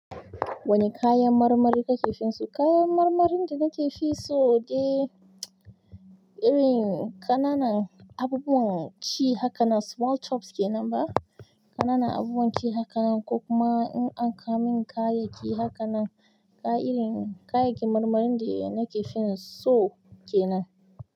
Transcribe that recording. Wani kayan marmari kake finso? Kayan marmarin da nake finso de irin ƙananan abubuwan ci haka nan small chops ke nan ba? Ƙananan abubuwan ci haka nan ko kuma in an kawo min kaya ki haka nan, kaya irin kayakin marmarin de nake finso ke nan.